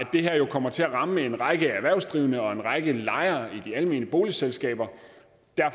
det her kommer til at ramme en række erhvervsdrivende og en række lejere i de almene boligselskaber